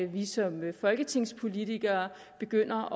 vi som folketingspolitikere begynder